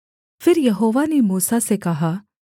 फिर यहोवा ने मूसा से कहा